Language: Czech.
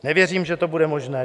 Nevěřím, že to bude možné.